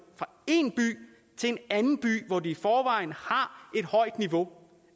fra en by til en anden by hvor de i forvejen har et højt niveau